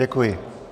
Děkuji.